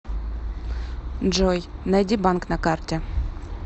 джой найди банк на карте